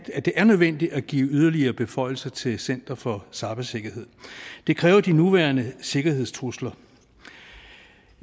at det er nødvendigt at give yderligere beføjelser til center for cybersikkerhed det kræver de nuværende sikkerhedstrusler